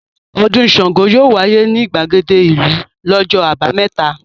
Ọdún Ṣàngó yóò wáyé ní ìgbàgede ìlú lọ́jọ́ àbámẹ́ta.